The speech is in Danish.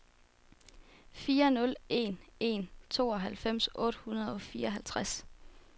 fire nul en en tooghalvfems otte hundrede og fireoghalvtreds